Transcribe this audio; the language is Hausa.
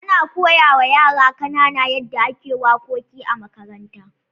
Ana koya wa yara kanana yadda ake wakoki a makaranta.